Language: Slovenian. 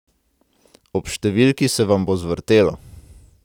Ob številki se vam bo zvrtelo!